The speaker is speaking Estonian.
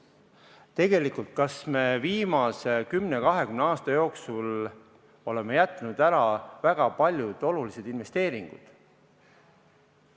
Tegelikult, kas me viimase 10–20 aasta jooksul oleme jätnud ära väga paljud olulised investeeringud?